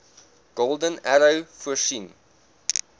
golden arrow voorsien